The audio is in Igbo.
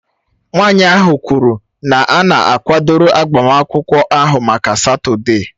Nwanyị ahụ kwuru na a na-akwadoro agbamakwụkwọ ahụ maka Satọde